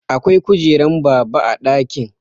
Akwai kujeran baba a ɗakin